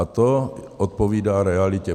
A to odpovídá realitě.